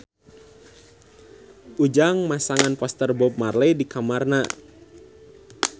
Ujang masang poster Bob Marley di kamarna